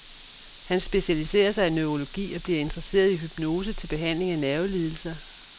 Han specialiserer sig i neurologi og bliver interesseret i hypnose til behandling af nervelidelser.